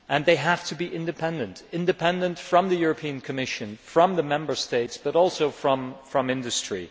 They have to be independent independent from the Commission, from the Member States, but also from industry.